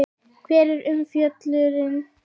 Hvar er umfjöllunin?